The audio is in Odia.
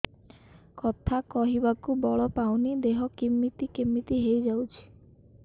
କଥା କହିବାକୁ ବଳ ପାଉନି ଦେହ କେମିତି କେମିତି ହେଇଯାଉଛି